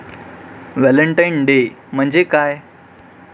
Valentine day म्हणजे काय?